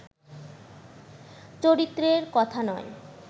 চরিত্রের কথা নয়